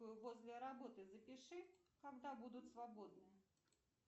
возле работы запиши когда будут свободны